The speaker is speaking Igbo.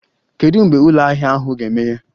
Kedu mgbe ụlọ ahịa ahụ ga-emeghe?